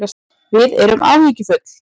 Við erum áhyggjufull